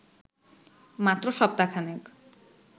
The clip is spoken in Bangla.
মাত্র সপ্তাহখানেক